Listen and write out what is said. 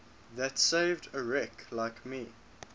that saved a wretch like me